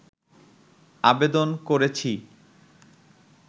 আবেদন করেছি